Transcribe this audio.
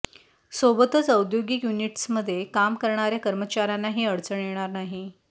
सोबतच औद्योगिक युनिट्समध्ये काम करणाऱ्या कर्मचाऱ्यांनाही अडचण येणार नाही